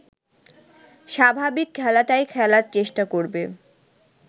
স্বাভাবিক খেলাটাই খেলার চেষ্টা করবে